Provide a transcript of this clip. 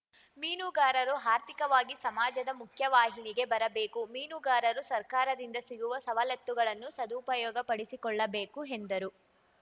ಮೀನುಗಾರರು ಆರ್ಥಿಕವಾಗಿ ಸಮಾಜದ ಮುಖ್ಯವಾಹಿನಿಗೆ ಬರಬೇಕು ಮೀನುಗಾರರು ಸರ್ಕಾರದಿಂದ ಸಿಗುವ ಸವಲತ್ತುಗಳನ್ನು ಸದುಪಯೋಗಪಡಿಸಿಕೊಳ್ಳಬೇಕು ಎಂದರು